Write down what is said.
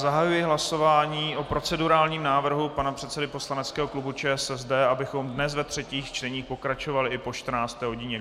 Zahajuji hlasování o procedurálním návrhu pana předsedy poslaneckého klubu ČSSD, abychom dnes ve třetích čteních pokračovali i po 14. hodině.